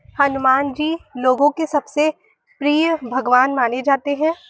हनुमान जी लोगों के सबसे प्रिय भगवान माने जाते हैं|